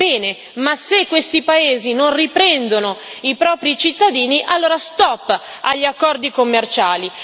Bene, ma se questi paesi non riprendono i propri cittadini, allora stop agli accordi commerciali.